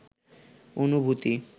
অনুভূতি